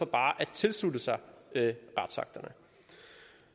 bare kan tilslutte sig retsakterne